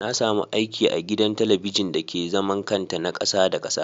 Nasamu aiki agidan talabijin dake zaman kanta na kasa Da kasa.